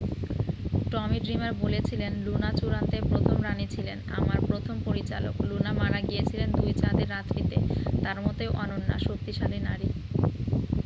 "টমি Dreamer বলেছিলেন "Luna চূড়ান্তের প্রথম রানী ছিলেন। আমার প্রথম পরিচালক। লুনা মারা গিয়েছিলেন দুই চাঁদের রাত্রিতে । তাঁর মতোই অনন্য। শক্তিশালী নারী "